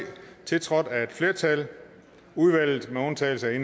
tiltrådt af et flertal i udvalget med undtagelse af